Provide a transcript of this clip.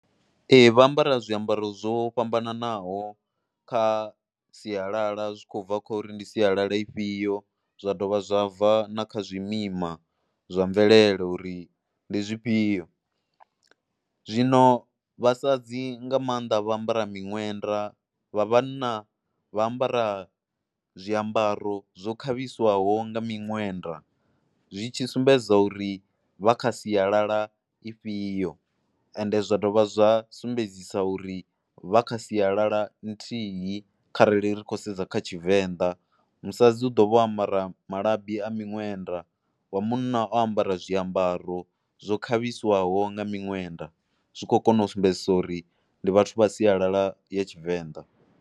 Ee vha ambara zwiambaro zwo fhambananaho kha sialala zwi khou bva kho uri ndi sialala ifhio, zwa dovha zwa bva na kha zwimima zwa mvelele uri ndi zwifhio. Zwino vhasadzi nga maanḓa vha ambara miṅwenda vha vhana vha ambara zwiambaro zwo khavhiswaho nga minwenda zwi tshi sumbedza uri vha kha sialala ifhio ende zwa dovha zwa sumbedzisa uri vha kha sialala nthihi kharali ri khou sedza kha Tshivenḓa, musadzi u ḓo vho ambara malabi a miṅwenda wa munna o ambara zwiambaro zwo khavhiswaho nga minwenda zwi khou kona u sumbedzisa uri ndi vhathu vha sialala ya Tshivenḓa.